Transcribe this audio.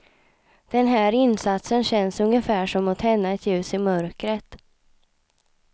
Den här insatsen känns ungefär som att tända ett ljus i mörkret.